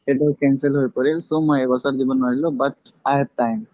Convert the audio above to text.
সেইবাৰ cancel হৈ পৰিল so মই এইবছৰ দিব নোৱাৰিলো but i have time